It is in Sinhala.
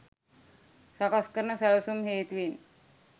සකස් කරන සැලැසුම් හේතුවෙන්